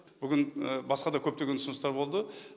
бүгін басқа да көптеген ұсыныстар болды